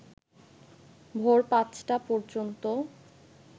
ভোর পাঁচটা পর্যন্ত